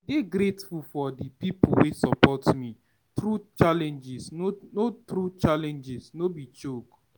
I dey grateful for di pipo wey support me through challenges, no through challenges, no be joke.